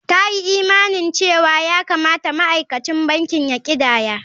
Ta yi imanin cewa ya kamata ma'aikacin banki ya ƙidaya.